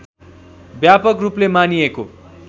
व्यापक रूपले मानिएको